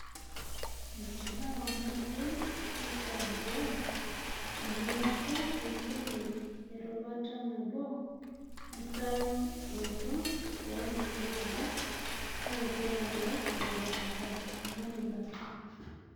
Mtiaho naayeu neitambuai. Teneaku keisilig erubata nabo erasarotoo ookulie rubat, na kelelek ebatata ina rubata